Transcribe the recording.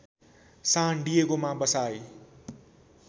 सान डिएगोमा बसाई